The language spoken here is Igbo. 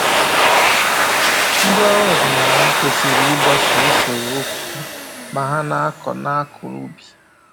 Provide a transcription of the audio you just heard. Ndị ọrụ ọdịnaala kwesịrị ịgbaso usoro uku ma ha na-akọ na-akọ ubi